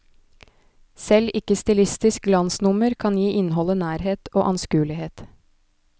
Selv ikke stilistisk glansnummer kan gi innholdet nærhet og anskuelighet.